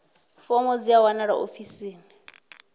fomo dzi a wanalea ofisini